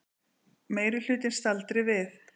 Meirihlutinn staldri við